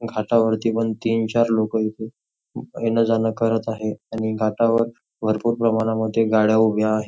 घाटावरती पण तीन चार लोक येणं जाणं करत आहेत आणि घाटावर भरपूर प्रमाणात गाड्या उभ्या आहे.